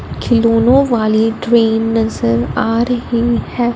खिलौनो वाली ट्रेन नजर आ रही है।